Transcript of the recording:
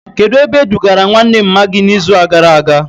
Kedụ ebe e dugara nwanne mma gị na izu gara aga?